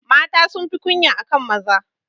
Mata sunfi kunya akan maza.